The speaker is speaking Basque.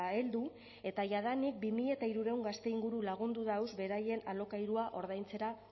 heldu eta jadanik bi mila hirurehun gazte inguru lagundu dauz beraien alokairua ordaintzera